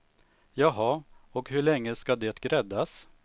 Jaha, och hur länge ska det gräddas?